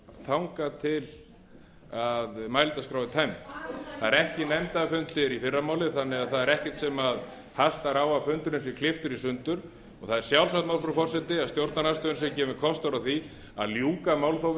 þangað til mælendaskrá er tæmd það eru ekki nefndarfundir í fyrramálið þannig að það er ekkert sem hastar á að fundurinn sé klipptur í sundur og það er sjálfsagt mál frú forseti að stjórnarandstöðunni sé gefinn kostur á því að ljúka málþófi